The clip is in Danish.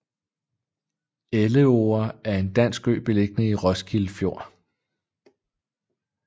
Elleore er en dansk ø beliggende i Roskilde Fjord